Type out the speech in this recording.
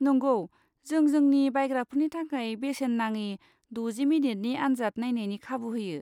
नंगौ, जों जोंनि बायग्राफोरनि थाखाय बेसेन नाङि द'जि मिनिटनि आनजाद नायनायनि खाबु होयो।